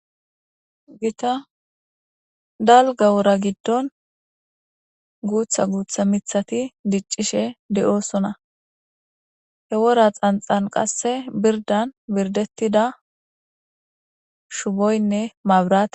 Gita dalga wora giddon guutha guutha mithati diccishe de'oosona he wora xanxan qasse birdan birdettida shuboynne mabra.